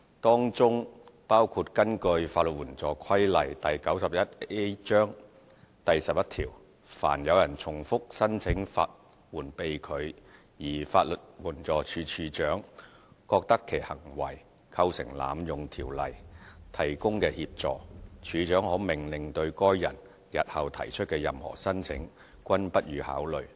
當中包括根據《法律援助規例》第11條，凡有人重複申請法援被拒，而法律援助署署長覺得其行為構成濫用《條例》提供的協助，署長可命令對該人日後提出的任何申請，均不予考慮。